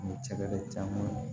Ni tɛgɛ caman ye